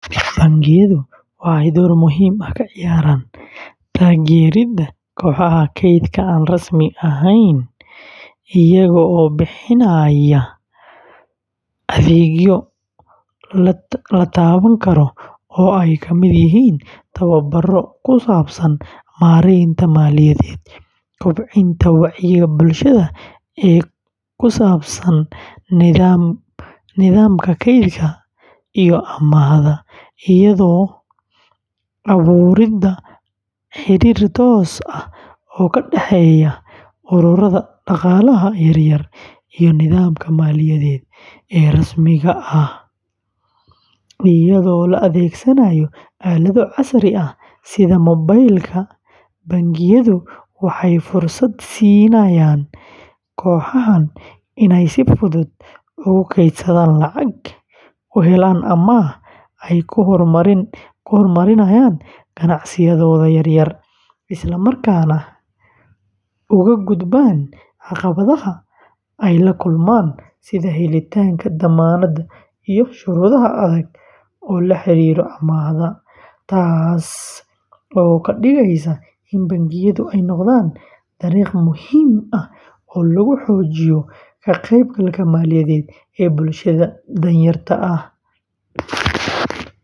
Bangiyadu waxay door muhiim ah ka ciyaaraan taageeridda kooxaha kaydka aan rasmi ahayn iyagoo bixinaya adeegyo la taaban karo oo ay ka mid yihiin tababarro ku saabsan maaraynta maaliyadeed, kobcinta wacyiga bulshada ee ku saabsan nidaamka kaydka iyo amaahda, iyo abuuridda xiriir toos ah oo ka dhexeeya ururrada dhaqaalaha yaryar iyo nidaamka maaliyadeed ee rasmiga ah; iyadoo la adeegsanayo aalado casri ah sida mobaylka, bangiyadu waxay fursad siinayaan kooxahan inay si fudud ugu kaydsadaan lacag, u helaan amaah ay ku horumariyaan ganacsiyadooda yaryar, isla markaana uga gudbaan caqabadaha ay la kulmaan sida helitaanka dammaanad iyo shuruudo adag oo la xiriira amaahda; taas oo ka dhigaysa in bangiyadu ay noqdaan dariiq muhiim ah oo lagu xoojiyo ka-qaybgalka maaliyadeed ee bulshada danyarta ah.